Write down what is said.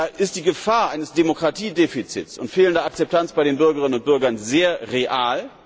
Da ist die Gefahr eines Demokratiedefizits und fehlender Akzeptanz bei den Bürgerinnen und Bürgern sehr real.